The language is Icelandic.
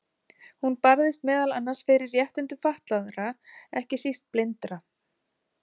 Hún barðist meðal annars fyrir réttindum fatlaðra, ekki síst blindra.